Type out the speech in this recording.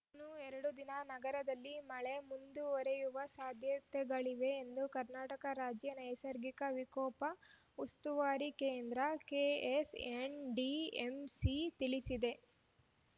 ಇನ್ನು ಎರಡು ದಿನ ನಗರದಲ್ಲಿ ಮಳೆ ಮುಂದುವರೆಯುವ ಸಾಧ್ಯತೆಗಳಿವೆ ಎಂದು ಕರ್ನಾಟಕ ರಾಜ್ಯ ನೈಸಗಿಕ ವಿಕೋಪ ಉಸ್ತುವಾರಿ ಕೇಂದ್ರ ಕೆಎಸ್‌ಎನ್‌ಡಿಎಂಸಿ ತಿಳಿಸಿದೆ